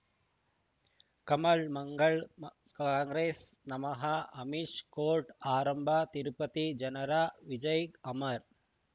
ಕಮಲ್ ಮಂಗಳ್ ಕಾಂಗ್ರೆಸ್ ನಮಃ ಅಮಿಷ್ ಕೋರ್ಟ್ ಆರಂಭ ತಿರುಪತಿ ಜನರ ವಿಜಯ ಅಮರ್